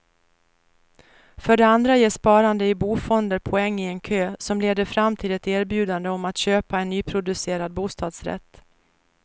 För det andra ger sparande i bofonder poäng i en kö, som leder fram till ett erbjudande om att köpa en nyproducerad bostadsrätt.